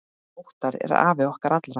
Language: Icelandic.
Óttar er afi okkar allra.